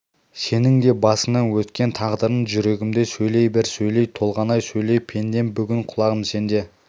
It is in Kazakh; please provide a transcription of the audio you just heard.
сенің де басыңнан өткен тағдырың жүрегімде сөйлей бер сөйле толғанай сөйле пендем бүгін құлағым сенде